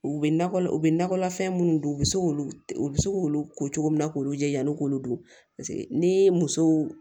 U bɛ nakɔ u bɛ nakɔlafɛn minnu don u bɛ se k'olu u bɛ se k'olu ko cogo min na k'olu jɛyani k'olu dun paseke ni muso